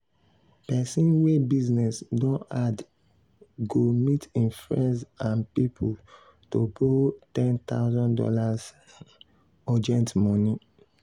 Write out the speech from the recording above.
person wey business don hard go meet im friends and people to borrow one thousand dollars0 urgent money.